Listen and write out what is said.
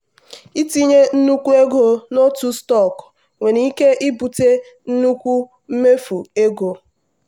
itinye nnukwu ego n'otu stọkụ nwere ike ibute nnukwu mfu ego.